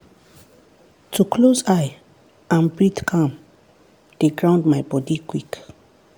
to close eye and breathe calm dey ground my body quick